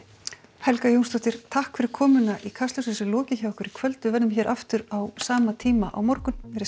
Helga Jónsdóttir takk fyrir komuna í Kastljósið þessu er lokið hjá okkur í kvöld við verðum hér aftur á sama tíma á morgun verið sæl